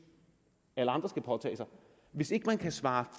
alle andre skal påtage sig hvis ikke man kan svare